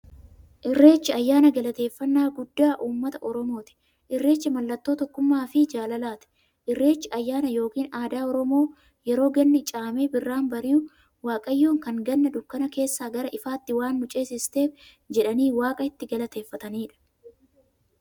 Irreechi aayyaana galateeffnnaa guddaa ummata oromooti. Irreechi mallattoo tokkummaafi jaalalaati. Irreechi ayyaana yookiin aadaa Oromoo yeroo ganni caamee birraan bari'u, waaqayyoon kan Ganna dukkana keessaa gara ifaatti waan nu ceesifteef jedhanii waaqa itti galateeffataniidha.